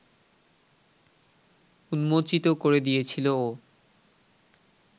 উন্মোচিত করে দিয়েছিল ও